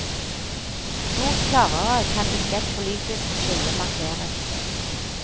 Stort klarere kan ikke et politisk skille markeres.